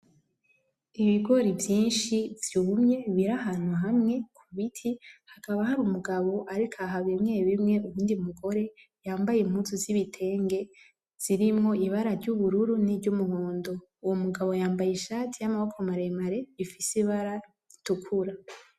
Ibigori vyishi vyumye biri ahantu hamwe kubiti hakaba harumugabo ariko aha bimwe bimwe ariko aha uwundi umugore yambaye impuzu zibitenge zirimwo ibara ry'ubururu ni ry'umuhondo. Uwo mugabo yambaye ishati yamaboko maremare ifise ibara ritukura